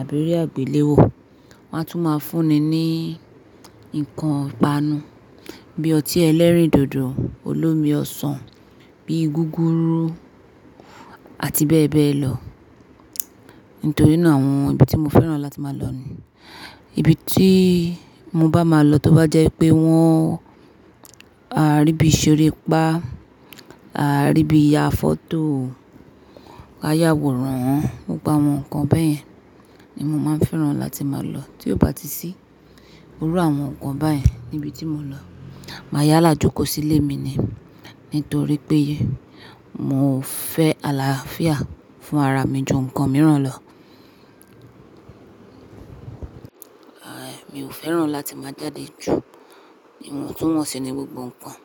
àbí eré àgbéléwò. Wọ́n á tún máa fún ni ní nǹkan ipanu bí ọtí ẹlẹ́rìndòdò olómi ọsàn, bí gúgúrú àti bẹ́ẹ̀ bẹ́ẹ̀ lọ. Nítorí náà àwọn ibi tí mo fẹ́ràn láti máa lọ ní, ibi tí mo bá máa lọ tó bá jẹ́ pé wọ́n a rí bí i ṣeré ipá, a rí bí i ya fọ́tò, a yàwòran, gbogbo àwọn nǹkan bẹ́ẹ̀ yẹn ni mo máa ń fẹ́ràn láti máa lọ. Tí ò bá ti sí gbogbo àwọn nǹkan báyen ní ibi tí mo lọ, màá yá làjú kó sí ilé mi ni. Nítorí pé mo fẹ́ àlàáfíà fún ara mi ju nǹkan mìíràn lọ. Aà, èmi ò fẹ́ràn láti máa jáde jù. Iwontunwonsi í ní gbogbo nǹkan.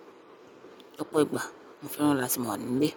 Lọ́pọ̀ ìgbà mo fẹ́ràn láti máa wà nílé.